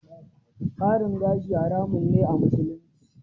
Ƙarin gashi haramun ne a Musulunci